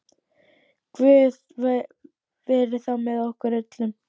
Guð veri þá með okkur öllum.